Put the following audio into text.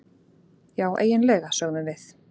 Já, eiginlega, sögðum við.